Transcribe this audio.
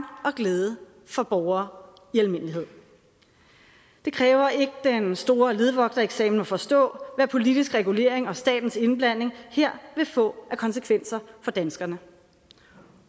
og glæde for borgere i almindelighed det kræver ikke den store ledvogtereksamen at forstå hvad politisk regulering og statens indblanding her vil få af konsekvenser for danskerne